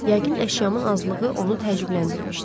Yəqin əşyamın azlığı onu təəccübləndirmişdi.